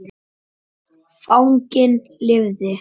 Fanginn lifði.